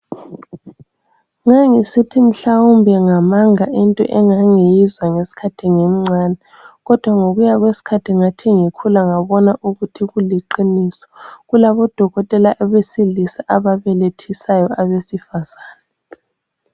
Ngangisithi mhlawumbe ngamanga into engangiyizwa ngeskhathi ngimncane, kodwa ngokuya kwesikhathi ngikhula ngakubona ukuthi kuliqiniso. Kulabo Dokotela besilisa ababelethisa abesifazana.